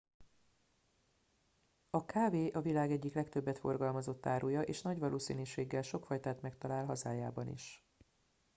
a kávé a világ egyik legtöbbet forgalmazott áruja és nagy valószínűséggel sok fajtát megtalál a hazájában is